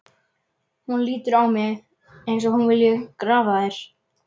Hún lítur á mig eins og hún vilji grafa þær.